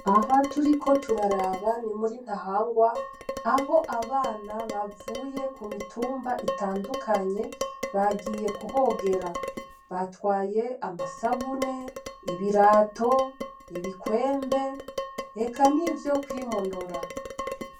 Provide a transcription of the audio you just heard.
Aha turiko turaraba ni muri Ntahangwa, aho abana bavuye ku mitumba itandukanye bagiye kuhogera, batwaye amasabune, birato, ibikwembe eka nivyo kwimonora.